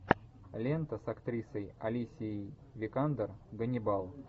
лента с актрисой алисией викандер ганнибал